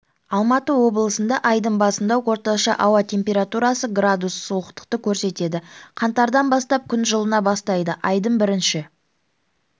алматы облысындаайдың басында орташа ауа температурасы градус суықтықты көрсетеді қаңтардан бастап күн жылына бастайды айдың бірінші